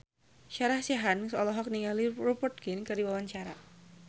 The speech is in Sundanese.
Sarah Sechan olohok ningali Rupert Grin keur diwawancara